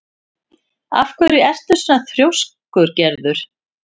Af hverju ertu svona þrjóskur, Gerður?